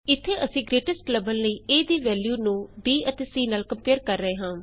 ਇਥੇ ਅਸੀਂ ਗਰੇਟੇਸਟ ਲੱਭਣ ਲਈ ਏ ਦੀ ਵੈਲਯੂ ਨੂੰ ਬੀ ਅਤੇ ਸੀ ਨਾਲ ਕੰਪੇਏਰ ਕਰ ਰਹੇ ਹਾਂ